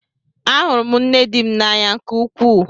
Ahụrụ m nne di m n'anya nke ukwuu.